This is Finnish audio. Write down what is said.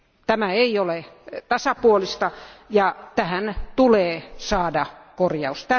Tämä ei ole tasapuolista, ja tähän tulee saada korjaus.